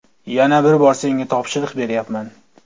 Yana bir bor senga topshiriq beryapman.